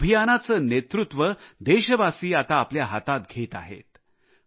या अभियानाचे नेतृत्व देशवासी आता आपल्या हातात घेत आहेत